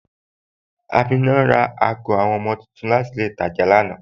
Amina ra awọn agọ ọmọ tuntun láti ilẹ̀ Ìtàjà lánà.